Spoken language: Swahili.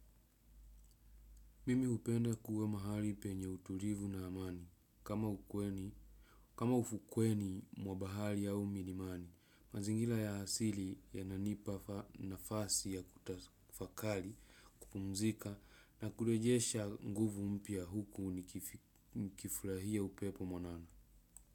Mimi hupenda kuwa mahali penye utulivu na amani kama ukweni. Kama ufukweni mwabahali au mi limani, mazingila ya hasili ya nanipa na fasi ya kutafakali kupumzika na kulejesha nguvu mpya huku ni kifurahia upepo mwanana.